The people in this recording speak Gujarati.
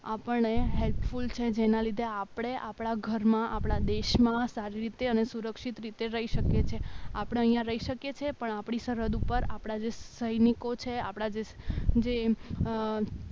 આપણને હેલ્પફૂલ છે જેના લીધે આપણે આપણા ઘરમાં આપણા દેશમાં સારી રીતે અને સુરક્ષિત રીતે રહી શકે છે આપણે અહીંયા રહી શકીએ છીએ પણ આપણી સરહદ ઉપર આપણા જ સૈનિકો છે આપણા જે આપણા જે